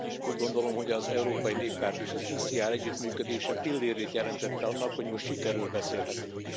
Úgy gondolom, hogy az Európai Néppárt és az ECR együttműködése pillérét jelentette annak, hogy most sikerről beszélhetünk.